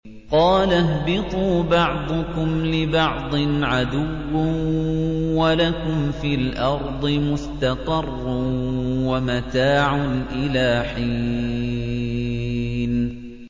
قَالَ اهْبِطُوا بَعْضُكُمْ لِبَعْضٍ عَدُوٌّ ۖ وَلَكُمْ فِي الْأَرْضِ مُسْتَقَرٌّ وَمَتَاعٌ إِلَىٰ حِينٍ